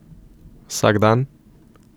Vsak dan?